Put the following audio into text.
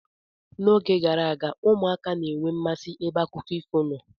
N'oge gara aga, ụmụaka na enwe mmasị ebe akụkọ ifo nọ.